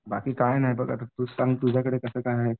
बाकी काय नाही आता तूच सांग आता तुझ्याकडे कसं काय आहे?